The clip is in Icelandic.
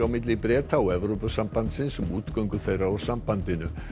milli Breta og Evrópusambandsins um útgöngu þeirra úr sambandinu